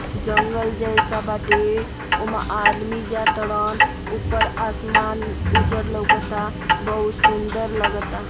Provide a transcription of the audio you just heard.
जंगल जैसा बाटे उमा आदमी जा ताड़न। ऊपर आसमान उजर लौकता बहुत सुंदर लगता।